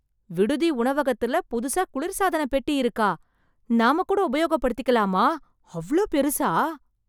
விடுதி உணவகத்துல புதுசா குளிர்சாதன பெட்டி இருக்கா? நாம கூட உபயோகப் படுத்திக்கலாமா? அவ்ளோ பெருசா?